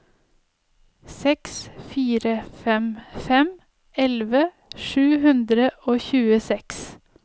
seks fire fem fem elleve sju hundre og tjueseks